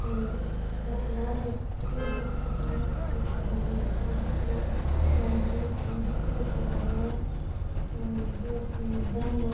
हम्म बटे लारे पेड़ दिखे है अठीने साइड में मकान सो ध्यान कोनी काई दिख तो रहियो है और अठीन मैदान है।